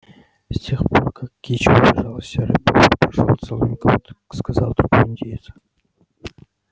с тех пор как кичи убежала серый бобр прошёл целый год сказал другой индеец